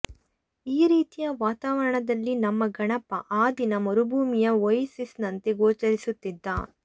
ಈ ರೀತಿಯ ವಾತಾವರಣದಲ್ಲಿ ನಮ್ಮ ಗಣಪ ಆ ದಿನ ಮರುಭೂಮಿಯ ಓಯಸಿಸ್ ನಂತೆ ಗೋಚರಿಸುತ್ತಿದ್ದ